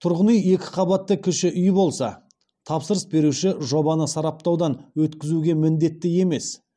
тұрғын үй екі қабатты кіші үй болса тапсырыс беруші жобаны сараптаудан өткізуге міндетті емес